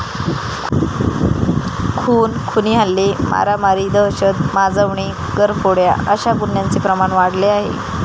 खून, खुनी हल्ले, मारामारी, दहशत माजवणे, घरफोड्या अशा गुन्ह्यांचे प्रमाण वाढले आहे.